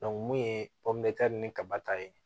mun ye ni kaba ta ye